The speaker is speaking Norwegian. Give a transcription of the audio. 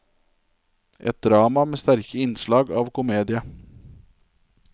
Et drama med sterke innslag av komedie.